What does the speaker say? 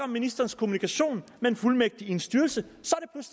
ministerens kommunikation med en fuldmægtig i en styrelse